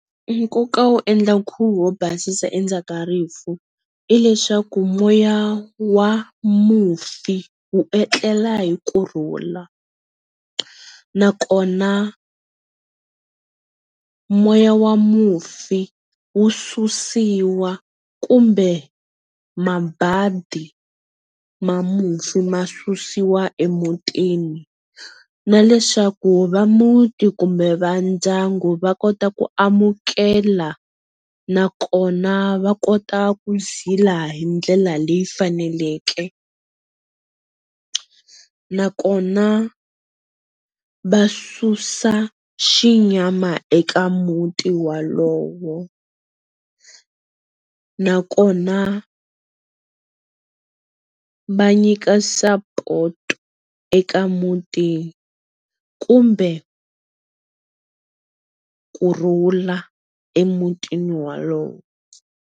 Nkoka wo endla nkhuvo wo basisa endzhaku ka rifu i leswaku moya wa mufi wu etlela hi kurhula nakona moya wa mufi wu susiwa kumbe mabadi ma mufi ma susiwa emutini na leswaku va muti kumbe va ndyangu va kota ku amukela nakona va kota ku zila hi ndlela leyi faneleke nakona va susa xinyama eka muti wolowo, nakona va nyika sapoto eka muti kumbe kurhula emutini wolowo.